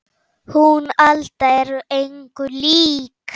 Hún Alda er engu lík